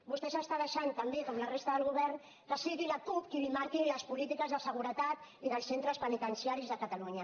vostè està deixant també com la resta del govern que sigui la cup qui li marqui les polítiques de seguretat i dels centres penitenciaris a catalunya